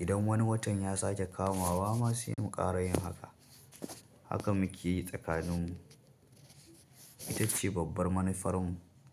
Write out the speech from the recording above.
idan wani watan ya sake kama wa ma sai in ƙara yin haka. Haka muke yi tsakanin mu. Ita ce babbar manufar mu.